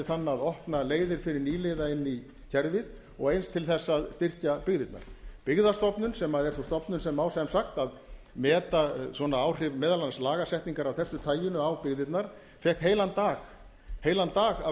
þann að opna leiðir fyrir nýliða inn í kerfið og eins til þess að styrkja byggðirnar byggðastofnun sem er sú stofnun sem á sagt að meta áhrif svona lagasetningar meðal annars af þessu tagi á byggðirnar fékk heilan dag heilan dag af